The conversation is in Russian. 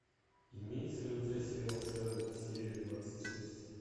имеется ли у тебя сериал шерлок серия двадцать шесть